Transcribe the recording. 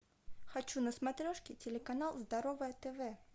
хочу на смотрешке телеканал здоровое тв